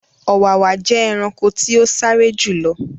Ọ̀wàwà jẹ́ ẹranko tí o sáré jù lọ